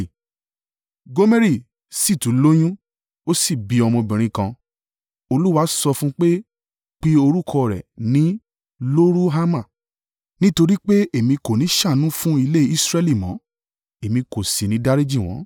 Gomeri sì tún lóyún, ó sì bí ọmọbìnrin kan. Olúwa sọ fún un pé, “Pe orúkọ rẹ̀ ní Lo-ruhama, nítorí pé, Èmi kò ní ṣàánú fún ilé Israẹli mọ́, Èmi kò sì ní dáríjì wọ́n.